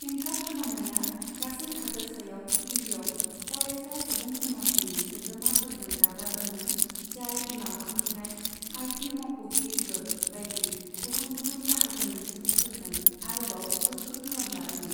हेंथा खालामनाया गासै हादोरसायाव गिबियाव फरायसा सुबुंसमाजनि सोद्रोमाफोरजों दाजादोंमोन जाय उनाव हाबफैनाय आइटि मावख'गिरिफोर बायदि गुबुन गुबुन बाहागोनि सुबुंफोरजों आरोबाव गोख्रों खालाम जादोंमोन।